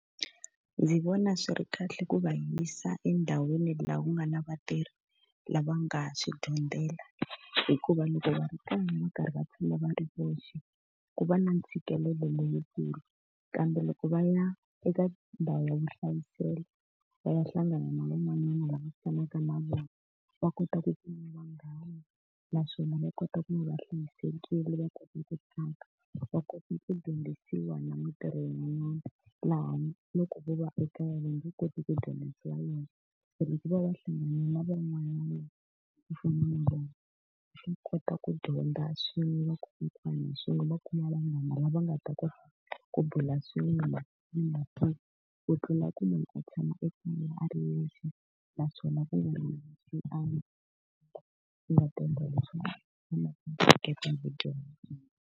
Ndzi vona swi ri kahle ku va yisa endhawini laha ku nga na vatirhi lava nga swi dyondzela, hikuva loko va ri kona va karhi va tshama va ri voxe, ku va na ntshikelelo lowukulu. Kambe loko va ya eka ndhawu ya vuhlayiselo va ya hlangana na van'wanyana lava tshamaka na vona, va kota ku kuma vanghana naswona va kota ku va va hlayisekile va kota ku tlanga, va kota ku dyondzisiwa na mitirho yin'wana. Laha loko vo va ekaya va nge koti ku dyondzisiwa yona. Se loko vo va va hlangane na van'wana va ku fana na vona, swa kota ku dyondza swin'we swin'we va kuma vanghana lava nga ta kota ku bula swin'we . Ku tlula ku munhu a tshama a ri yexe naswona .